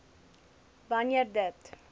b wanneer dit